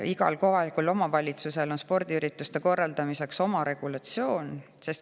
Igal kohalikul omavalitsusel on spordiürituste korraldamiseks oma regulatsioon.